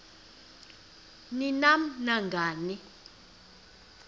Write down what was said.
ni nam nangani